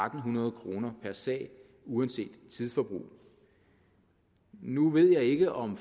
hundrede kroner per sag uanset tidsforbrug nu ved jeg ikke om